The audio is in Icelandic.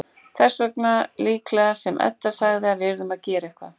Þess vegna líklega sem Edda sagði að við yrðum að gera eitthvað.